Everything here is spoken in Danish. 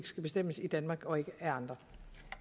skal bestemmes i danmark og ikke af andre